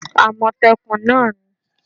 amotekun náà ni